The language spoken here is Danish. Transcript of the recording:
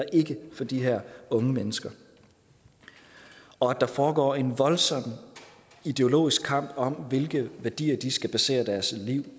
for de her unge mennesker og at der foregår en voldsomt ideologisk kamp om hvilke værdier de skal basere deres liv